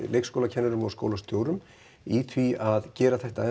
leikskólakennurum og skólastjórum í því að gera þetta